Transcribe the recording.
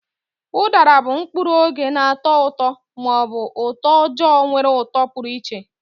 Udara bụ mkpụrụ oge na-atọ ụtọ ma ọ bụ utoojoo nwere uto pụrụ iche.